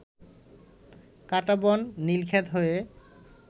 কাঁটাবন, নীলক্ষেত হয়ে